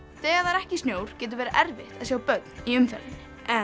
þegar það er ekki snjór getur verið erfitt að sjá börn í umferðinni